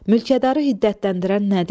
Mülkədarı hiddətləndirən nədir?